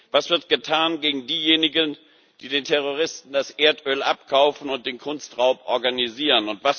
Was wird getan gegen diejenigen, die den Terroristen das Erdöl abkaufen und den Kunstraub organisieren?